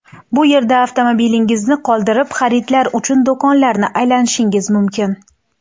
Bu yerda avtomobilingizni qoldirib xaridlar uchun do‘konlarni aylanishingiz mumkin.